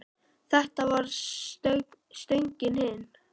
Þetta var stöngin inn!